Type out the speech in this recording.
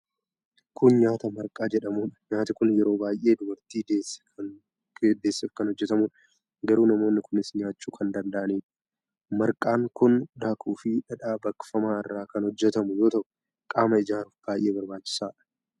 Kun nyaata marqaa jedhamuudha. Nyaati kun yeroo baay'ee dubartii deesseef kan hojjatamuudha. Garuu namoonni kuunis nyaachuu kan danda'anidha. Marqaan kun daakuu fi dhadhaa baqfamaa irraa kan hojjatamu yoo ta'u qaama ijaaruuf baay'ee barbaachisaadha.